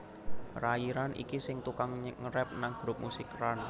Rayi Ran iki sing tukang ngerap nang grup musik Ran